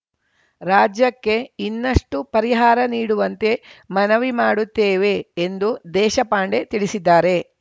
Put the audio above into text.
ರಾಜ್ಯಕ್ಕೆ ಇನ್ನಷ್ಟುಪರಿಹಾರ ನೀಡುವಂತೆ ಮನವಿ ಮಾಡುತ್ತೇವೆ ಎಂದು ದೇಶಪಾಂಡೆ ತಿಳಿಸಿದ್ದಾರೆ